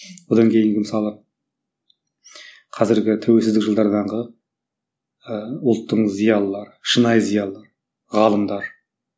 одан кейінгі мысалы қазіргі тәуелсіздік жылдардағы ы ұлттың зиялылыры шынайы зиялы ғалымдар